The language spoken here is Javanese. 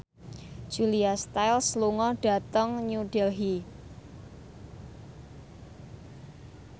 Julia Stiles lunga dhateng New Delhi